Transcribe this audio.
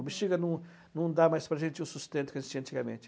O Bexiga não não dá mais para a gente o sustento que existia antigamente.